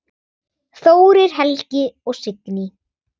Þórir Helgi og Signý.